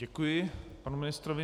Děkuji panu ministrovi.